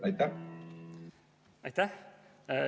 Aitäh!